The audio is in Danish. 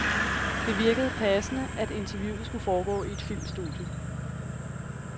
Det virkede passende, at interviewet skulle foregå i et filmstudie.